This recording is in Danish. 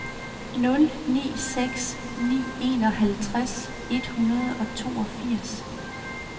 nul ni seks ni enoghalvtreds et hundrede og toogfirs